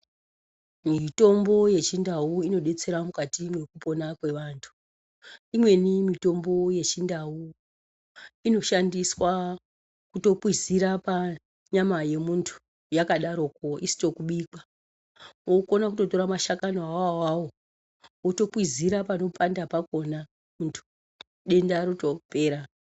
Mitombo yechindau inodetsera mukati mwekupona kwevanthu. Imweni mitombo yechindau inoshandiswa kutokwizira panyama yemunthu yakadaroko isito kubikwa. Unokona kutora mashakani ona awawo wotokwizira panopanda pakhona munthu, denda rotopera.